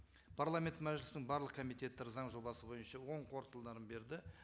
парламент мәжілісінің барлық комитеттері заң жобасы бойынша оң қорытындыларын берді